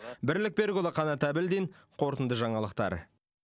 бірлік берікұлы қанат әбілдин қорытынды жаңалықтар